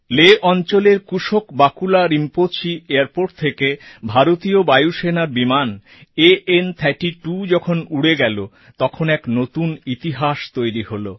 লেহ্ অঞ্চলের কুশোক বাকুলা রিম্পোচি এয়ারপোর্ট থেকে ভারতীয় বায়ুসেনার বিমান আন 32 যখন উড়ে গেল তখন এক নতুন ইতিহাস তৈরি হলো